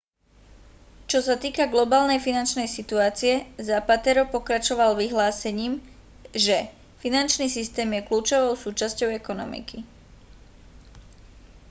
čo sa týka globálnej finančnej situácie zapatero pokračoval vyhlásením že finančný systém je kľúčovou súčasťou ekonomiky